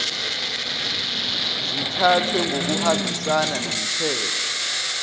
zithathwe ngokuhambisana nomthetho